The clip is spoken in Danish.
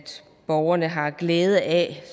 borgerne har glæde af